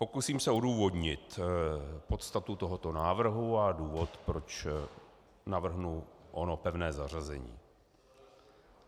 Pokusím se odůvodnit podstatu tohoto návrhu a důvod, proč navrhnu ono pevné zařazení.